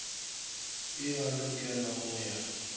e a lokelwa go ya